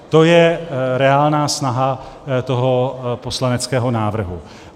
To je reálná snaha toho poslaneckého návrhu.